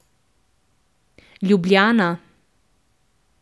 Ljubljana.